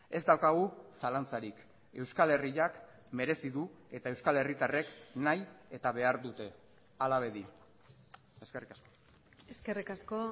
ez daukagu zalantzarik euskal herriak merezi du eta euskal herritarrek nahi eta behar dute hala bedi eskerrik asko eskerrik asko